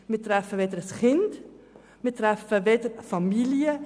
Wir treffen damit weder ein Kind noch Familien.